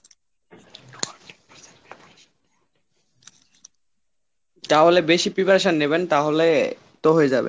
তাহলে বেশি preparation নেবেন তাহলে তো হয়ে যাবে।